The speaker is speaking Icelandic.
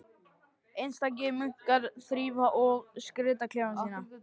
Einstakir munkar þrífa og skreyta klefa sína.